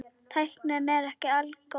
Tæknin er ekki algóð.